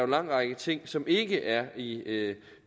lang række ting som ikke er i